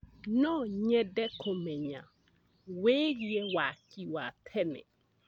No nyende kũmenya wĩgiĩ waki wa tene.